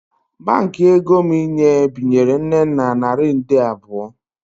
Baankị ego m inye binyere Nnenna naira nde abụọ